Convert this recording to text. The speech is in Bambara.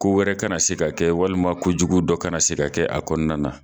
Ko wɛrɛ ka na se ka kɛ walima ko jugu dɔ kana se ka kɛ a kɔnɔna na.